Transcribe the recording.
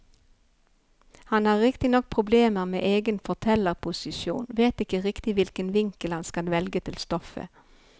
Han har riktignok problemer med egen fortellerposisjon, vet ikke riktig hvilken vinkel han skal velge til stoffet.